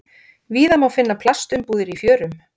Víða má finna plastumbúðir í fjörum.